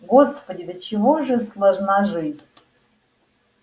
господи до чего же сложна жизнь